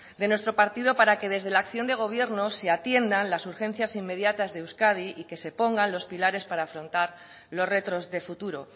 de nuestro partido para que desde la acción de gobierno se atiendan las urgencias inmediatas de euskadi y que se pongan los pilares para afrontar los retos de futuro